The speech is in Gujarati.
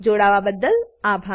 જોડાવાબદ્દલ આભાર